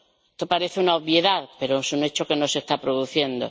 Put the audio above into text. Esto parece una obviedad, pero es un hecho que no se está produciendo.